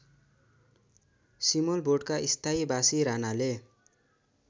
सिमलबोटका स्थायीबासी रानाले